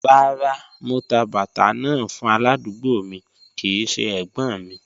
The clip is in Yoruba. Rárá, mò tà bàtà náà fún aládùgbò mi kìí ṣẹ ẹ̀gbọ́́̀n mi.